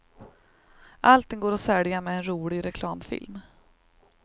Allting går att sälja med en rolig reklamfilm.